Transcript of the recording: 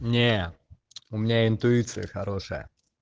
не у меня интуиция хорошая